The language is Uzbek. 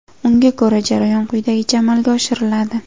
Unga ko‘ra, jarayon quyidagicha amalga oshiriladi.